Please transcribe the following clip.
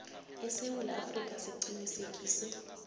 esewula afrika siqinisekise